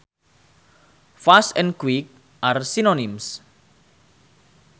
Fast and quick are synonyms